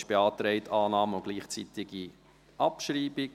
Beantragt wurde Annahme und gleichzeitige Abschreibung.